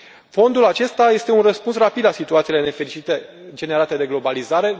Fondul acesta este un răspuns rapid la situațiile nefericite generate de globalizare.